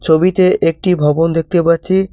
ছবিতে একটি ভবন দেখতে পাচ্ছি।